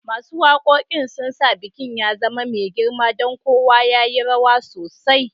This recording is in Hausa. Masun wakokin sun sa bikin ya zama mai girma, dan kowa ya yi rawa sosai